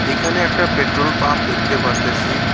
এইখানে একটা petrol pump দেখতে পারতেসি।